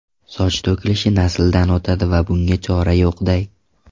Soch to‘kilishi nasldan o‘tadi va bunga chora yo‘qday!